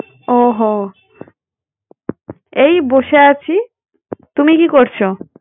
ও হো, এই বসে আছি। তুমি কি করছো?